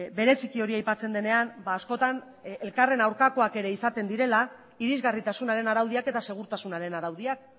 bereziki hori aipatzen denean askotan elkarren aurkakoak ere izaten direla irisgarritasunaren araudiak eta segurtasunaren araudiak